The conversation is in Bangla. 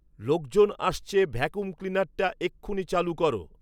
লোকজন আসছে ভ্যাক্যুম ক্লিনারটা এক্ষুণি চালু করো